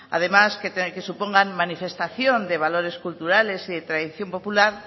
además que supongan manifestación de valores culturales y de tradición popular